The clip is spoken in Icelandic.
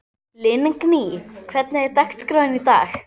Lingný, hvernig er dagskráin í dag?